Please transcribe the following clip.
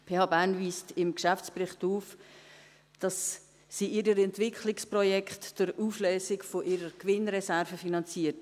Die PH Bern weist im Geschäftsbericht aus, dass sie ihre Entwicklungsprojekte durch Auflösung ihrer Gewinnreserven finanziert.